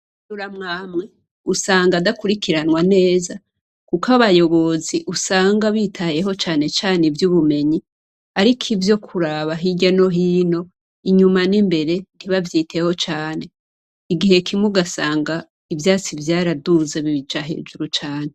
Amashure amwe amwe usanga adakurikiranwa neza kuko abayobozi usanga bitayeho cane cane ivy' ubumenyi ariko ivyo kuraba hirya no hino inyuma n' imbere ntibavyiteho cane igihe kimwe ugasanga ivyatsi vyaraduze bibija hejuru cane.